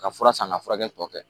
Ka fura san ka furakɛli tɔ kɛ